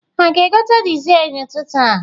Ha ga-egote dizel n'ụtụtụ a?